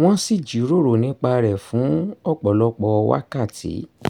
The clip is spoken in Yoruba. wọ́n sì jíròrò nípa rẹ̀ fún ọ̀pọ̀lọpọ̀ wákàtí